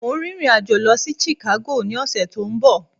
Mo ń rìnrìn àjò Lọ sí Chicago ní ọ̀sẹ̀ to ń bo